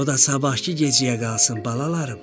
O da sabahkı gecəyə qalsın, balalarım.